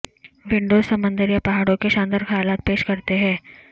Windows سمندر یا پہاڑوں کے شاندار خیالات پیش کرتے ہیں